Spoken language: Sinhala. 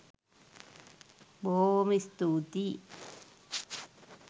බොහෝම ස්තුතියි